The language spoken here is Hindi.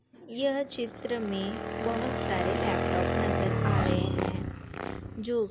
यह चित्र में बोहोत सारे लैपटॉप नज़र आ रहे हैं जो --